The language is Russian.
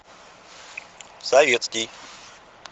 советский